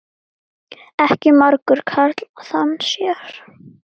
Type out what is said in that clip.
Ekki margur karl þann sér.